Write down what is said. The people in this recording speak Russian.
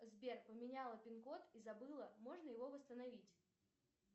сбер поменяла пин код и забыла можно его восстановить